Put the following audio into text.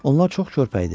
Onlar çox körpə idi.